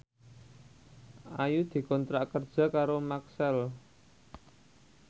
Ayu dikontrak kerja karo Maxell